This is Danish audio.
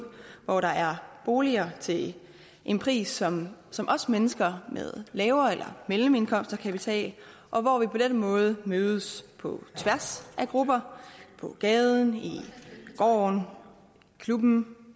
hvor der er boliger til en pris som som også mennesker med lave indkomster eller mellemindkomster kan betale og hvor vi på den måde mødes på tværs af grupper på gaden i gården i klubben